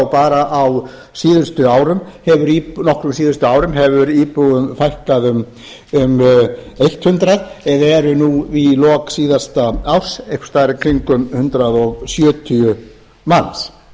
bara á nokkrum síðustu árum hefur íbúum fækkað um hundrað eða eru nú í lok síðasta árs einhvers staðar í kringum hundrað sjötíu manns